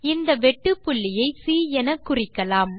இந்த வெட்டுப்புள்ளியை சி எனக்குறிக்கலாம்